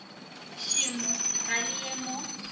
šemo ga le ye mo